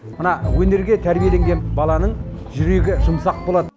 мына өнерге тәрбиеленген баланың жүрегі жұмсақ болады